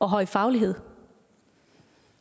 høje faglighed